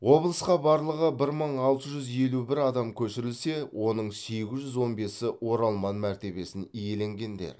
облысқа барлығы бір мың алты жүз елу бір адам көшірілсе оның сегіз жүз он бесі оралман мәртебесін иеленгендер